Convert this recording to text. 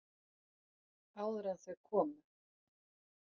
Áður en þau komu.